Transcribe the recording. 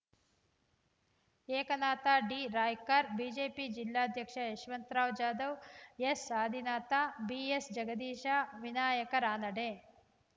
Eknath D Raikar BJP ಜಿಲ್ಲಾಧ್ಯಕ್ಷ Yashwantrao Jadhav S Adinath BS Jagadish Vinayak Ranade